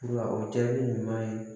O jaabi ɲuman ye